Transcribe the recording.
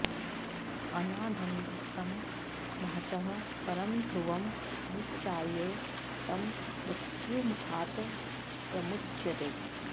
अनाद्यनन्तं महतः परं ध्रुवं निचाय्य तं मृत्युमुखात् प्रमुच्यते